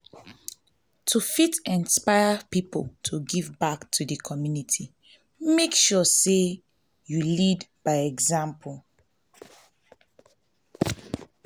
to fit inspire people to give back to di community make sure say you lead by example